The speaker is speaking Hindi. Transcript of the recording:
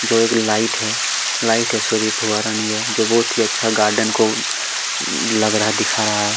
जो एक लाइट है लाइट है सॉरी फुआरा नहीं है जो बहुत ही अच्छा गार्डन को लग रहा है दिखा रहा है।